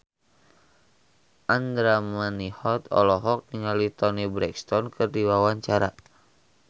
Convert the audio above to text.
Andra Manihot olohok ningali Toni Brexton keur diwawancara